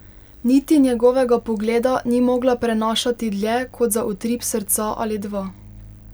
Niti njegovega pogleda ni mogla prenašati dlje kot za utrip srca ali dva.